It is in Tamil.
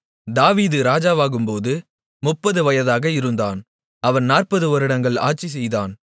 தாவீது ராஜாவாகும்போது 30 வயதாக இருந்தான் அவன் 40 வருடங்கள் ஆட்சி செய்தான்